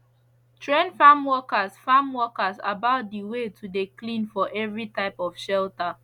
train farm workers farm workers about de way to de clean for every type of shelter